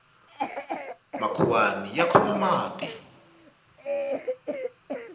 makhuwani ya khoma mati